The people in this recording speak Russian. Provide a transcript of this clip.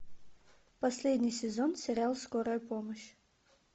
последний сезон сериал скорая помощь